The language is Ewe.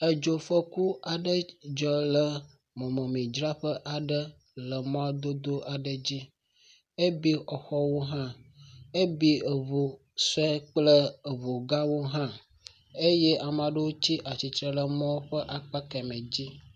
Edzofɔku aɖe dzɔ le mɔmidzraƒe aɖe le mɔdodo aɖe dzi. ebi exɔwo hã. Ebi eŋu sue kple eŋugãwo hã. Eye ame aɖewo tsi atsitre le emɔ ƒe akpa kemɛ dzi.